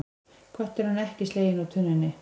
Kötturinn ekki sleginn úr tunnunni